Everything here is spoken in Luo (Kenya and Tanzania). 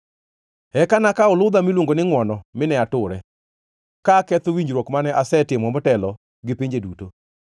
Eka nakawo ludha miluongo ni Ngʼwono mine ature, ka aketho winjruok mane asetimo motelo gi pinje duto.